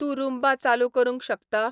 तूं रूम्बा चालू करूंक शकता